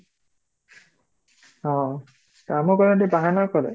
ହଁ କାମ କଲା ବେଳେ ଟିକେ ବାହାନା କରେ